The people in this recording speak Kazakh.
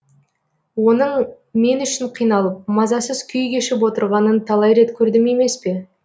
оның мен үшін қиналып мазасыз күй кешіп отырғанын талай рет көрдім емес пе